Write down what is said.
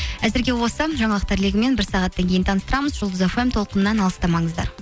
әзірге осы жаңалықтар легімен бір сағаттан кейін таныстырамыз жұлдыз фм толқынынан алыстамаңыздар